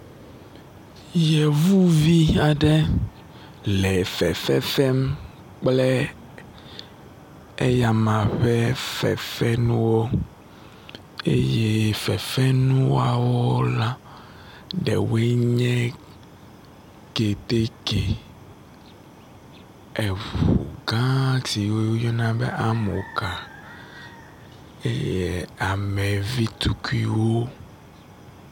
Yevuvi aɖe le fefefem kple eyama ƒe fefenuwo eye fefenuawo la ɖewoe nye kɛtɛkɛ eʋugã si woyɔna be amɔ́ka eye amevitukuiwo